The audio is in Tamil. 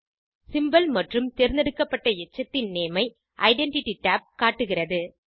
சிம்போல் மற்றும் தேர்ந்தெடுக்கப்பட்ட எச்சத்தின் நேம் ஐ ஐடென்டிட்டி tab காட்டுகிறது